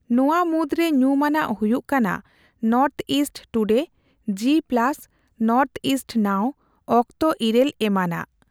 ᱱᱚᱣᱟ ᱢᱩᱫᱽᱨᱮ ᱧᱩᱢᱟᱱᱟᱜ ᱦᱩᱭᱩᱜ ᱠᱟᱱᱟ north east today, G plus, northeast now, ᱚᱠᱛᱚ ᱤᱨᱟᱹᱞ ᱮᱢᱟᱱᱟᱜ ᱾